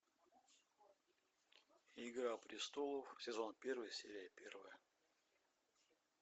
игра престолов сезон первый серия первая